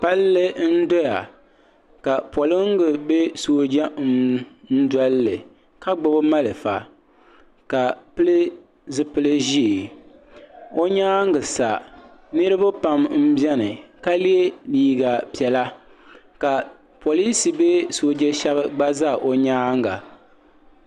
palli n-doya ka polinga bee sooja n -doli li ka gbubi malfa ka pili zupil' ʒee o nyaaga sa niriba pam m-beni ka ye liiga piɛla ka polinsi bee sooja gba za o nyaaga